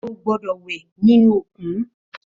Ó gbòdò wè ninú ókún